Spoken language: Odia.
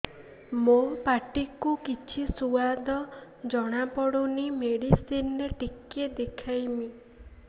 ମୋ ପାଟି କୁ କିଛି ସୁଆଦ ଜଣାପଡ଼ୁନି ମେଡିସିନ ରେ ଟିକେ ଦେଖେଇମି